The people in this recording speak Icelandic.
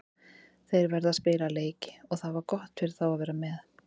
Þeir verða að spila leiki og það var gott fyrir þá að vera með.